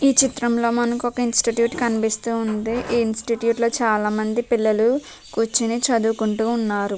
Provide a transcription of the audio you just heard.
ఈ చిత్రంలో మనకు ఒక్క ఇన్స్టిట్యూట్ కనిపిస్తోందిఈ ఇన్స్టిట్యూట్ లో చాలామంది పిల్లలు కుర్చొని చదువుకుంటువున్నారు .